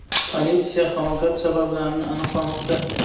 Politsiya halokat sabablarini aniqlamoqda.